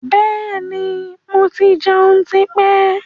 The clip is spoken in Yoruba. Bẹ́ẹ̀ni, mo ti jẹun tí pẹ́.